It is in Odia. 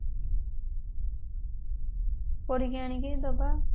ପଢିକି ଆଣିକି ଦବା